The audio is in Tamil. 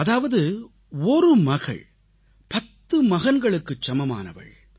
அதாவது ஒரு மகள் பத்து மகன்களுக்குச் சமமானவள்